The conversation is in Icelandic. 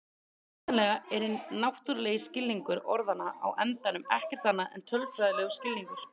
Hugsanlega er hinn náttúrulegi skilningur orðanna á endanum ekkert annað en tölfræðilegur skilningur.